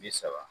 Bi saba